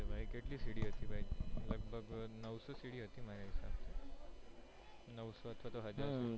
તો કેટલી સિડી હતી ભાઈ લગભગ નઉસો સિડી હતી મારા હિસાબ થી નઉસો અથવા હજાર તો